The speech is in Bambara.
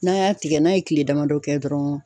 N'a y'a tigɛ, n'a ye kile damadɔ kɛ dɔrɔn